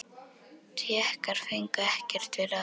Tékkar fengu ekkert við ráðið.